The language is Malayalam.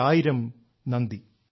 വളരെ നന്ദി